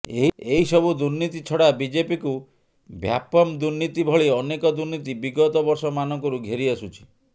ଏହିସବୁ ଦୁର୍ନୀତି ଛଡ଼ା ବିଜେପିକୁ ଭ୍ୟାପମ୍ଦୁର୍ନୀତି ଭଳି ଅନେକ ଦୁର୍ନୀତି ବିଗତ ବର୍ଷମାନଙ୍କରୁ ଘେରିଆସୁଛି